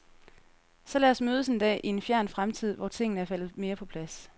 Så lad os mødes en dag, i en fjern fremtid hvor tingene er faldet mere på plads.